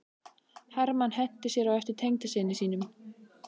Hermann henti sér á eftir tengdasyni sínum.